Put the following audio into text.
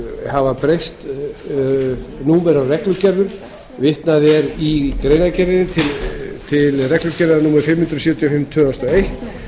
hafa breyst númer á reglugerðum vitnað er í greinargerð til reglugerðar númer fimm hundruð sextíu og fimm tvö þúsund og eitt